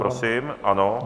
Prosím, ano.